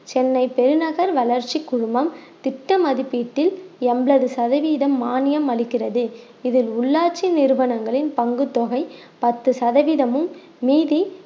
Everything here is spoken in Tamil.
சென்னை பெருநகர் வளர்ச்சி குழுமம் திட்ட மதிப்பீட்டில் எண்பது சதவீதம் மானியம் அளிக்கிறது இதில் உள்ளாட்சி நிறுவனங்களின் பங்குத்தொகை பத்து சதவீதமும் மீதி